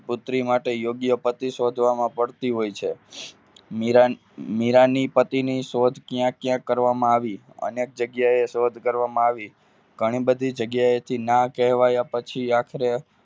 પુત્રી માટે યોગ્ય પછી શોધવા માં મુશ્કેલી પડતી હોય છે મીરાંની પતિની શોધ કયા કયા કરવામાં આવી અને જગ્યાએ શોધ કરવામાં આવી ઘણી બધી જગ્યાએથી ના કહેવાય પછી આખરે